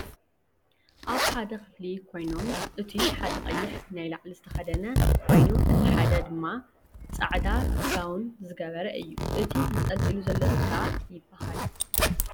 ኣብ ሓደ ክፍሊ ኮይኖም እቱይ ሓደ ቀይሕ ናይ ላዕሊ ዝተከደነ ኮይኑእቱይ ሓደ ድማ ፃዕዳ ጋው ዝገበረ እዩ ። እቱይ ተንጠሊጢሉ ዘሎ ስጋ ይብሃል ።